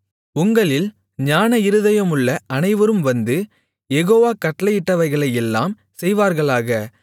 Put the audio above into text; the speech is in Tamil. உங்களில் ஞானஇருதயமுள்ள அனைவரும் வந்து யெகோவா கட்டளையிட்டவைகளையெல்லாம் செய்வார்களாக